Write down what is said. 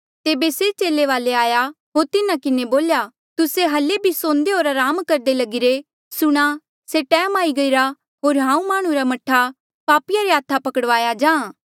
तेबे से चेले वाले आया होर तिन्हा किन्हें बोल्या तुस्से हल्ली भी सौंदे होर अराम करदे लगिरे सुणा से टैम आई गईरा होर हांऊँ माह्णुं रा मह्ठा पापिया रे हाथा पकड़वाया जाहाँ